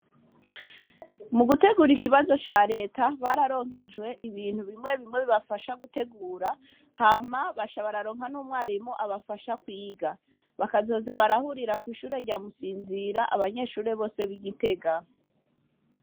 Mu gutegura ikibazo ca leta, bararonkejwe ibintu bimwe bimwe bibafasha gutegura, hama baca bararonka n'umwarimu abafasha kwiga. Bakazoza barahurira kw'ishure rya Musinzira, abanyeshure bose b'i Gitega.